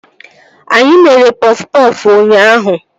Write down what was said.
Anyị mere pọf pọfụ ụnyaahụ